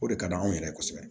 O de ka d'anw yɛrɛ ye kosɛbɛ